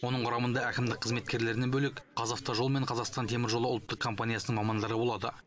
оның құрамында әкімдік қызметкерлерінен бөлек қазавтожол мен қазақстан теміржол ұлттық компаниясының мамандары болады